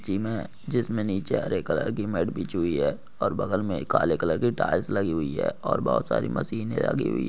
जी मैं जिसमें नीचे हरे कलर की मेड बीच हुई है और बगल में काले कलर की टाइल्स लगी हुई है और बहुत सारी मशीन लगी हुई है।